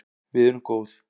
Við erum góð